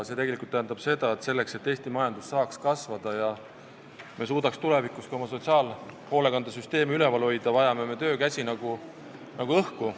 See tegelikult tähendab seda, et selleks, et Eesti majandus saaks kasvada ja me suudaks ka tulevikus oma sotsiaalhoolekande süsteemi üleval hoida, vajame me töökäsi nagu õhku.